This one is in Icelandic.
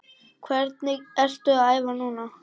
Hvernig ertu að æfa núna?